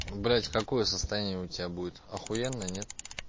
блядь какое состояние у тебя будет ахуенное нет